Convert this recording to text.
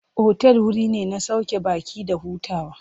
Otal wuri ne na sauke baƙi da hutawa.